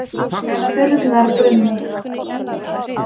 Urðarbrunni